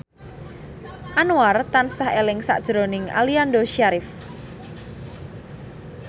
Anwar tansah eling sakjroning Aliando Syarif